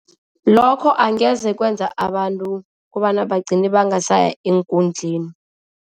Lokho angeze kwenza abantu kobana bagcine bangasaya eenkundleni.